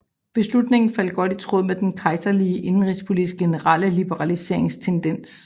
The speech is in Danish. Beslutningen faldt godt i tråd med den kejserlige indenrigspolitiks generelle liberaliseringstendens